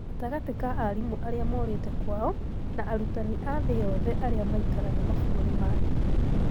Gatagatĩ ka arimũ arĩa morĩte kwao na arutanĩ a thĩĩ yothe arĩa maikaraga mabũrũri mangĩ.